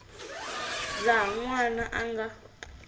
laha n wana a nga